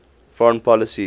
foreign policy